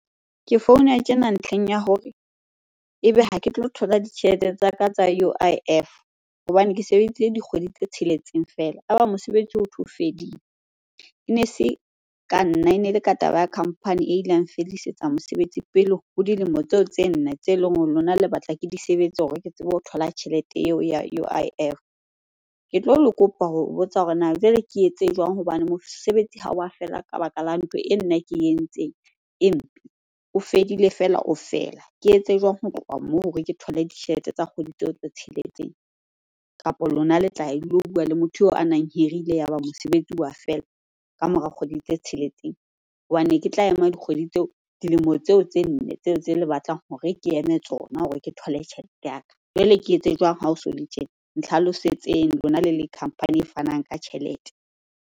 Ke founa tjena ntlheng ya hore ebe ha ke tlo thola ditjhelete tsaka tsa U_I_F hobane ke sebeditse dikgwedi tse tsheletseng fela, ya ba mosebetsi hothwe o fedile. Ene se ka nna, ene le ka taba ya company e ileng ya nfedisetsa mosebetsi pele ho dilemo tseo tse nne tse leng hore lona le batla ke di sebetse hore ke tsebe ho thola tjhelete eo ya U_I_F. Ke tlo le kopa ho botsa hore na jwale ke etse jwang hobane mosebetsi ha wa feela ka baka la ntho e nna ke e entseng e mpe, o fedile fela o fela? Ke etse jwang ho tloha moo hore ke thole ditjhelete tsa kgwedi tseo tse tsheletseng? Kapa lona le tla ya le lo bua le motho eo a nang hirile yaba mosebetsi wa feela ka mora kgwedi tse tsheletseng? Hobane ne ke tla ema dikgwedi tseo, dilemo tseo tse nne tseo tse le batlang hore ke eme tsona hore ke thole tjhelete ya ka. Jwale ke etse jwang ha o so le tje? Nhlalosetseng lona le le company e fanang ka tjhelete.